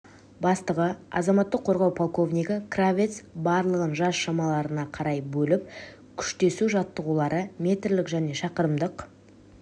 бастығы азаматтық қорғау полковнигі кравец барлығын жас шамаларына қарай бөліп күштесу жаттығулары метрлік және шақырымдық